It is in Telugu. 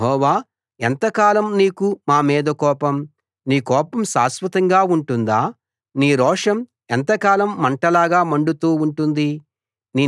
యెహోవా ఎంతకాలం నీకు మా మీద కోపం నీ కోపం శాశ్వతంగా ఉంటుందా నీ రోషం ఎంతకాలం మంటలాగా మండుతూ ఉంటుంది